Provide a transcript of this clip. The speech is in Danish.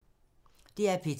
DR P2